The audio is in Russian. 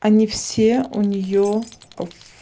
они все у нее в